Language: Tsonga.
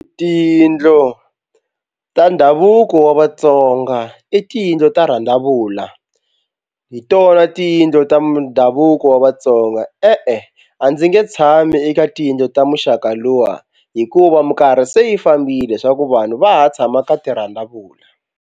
Tiyindlu ta ndhavuko wa Vatsonga i tiyindlu ta rhandzavula hi tona tiyindlu ta ndhavuko wa Vatsonga. E-e a ndzi nge tshami eka tiyindlu ta muxaka luwa hikuva mikarhi se yi fambile swa ku vanhu va ha tshama ka tirhandzavula.